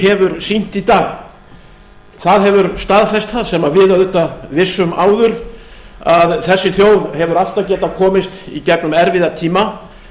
hefur sýnt í dag það hefur staðfest það sem við auðvitað vissum áður að þessi þjóð hefur alltaf getað komist í gegnum erfiða tíma